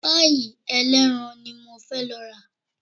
Páì ẹlẹ́ran ni mo fẹ́ lọ rà